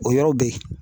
O yɔrɔ bɛ yen